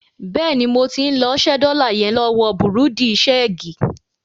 Bẹ́ẹ̀ni, mo ti ń lọ ṣẹ́ dọ́là yẹn lọ́wọ bùrúdì ṣeègì.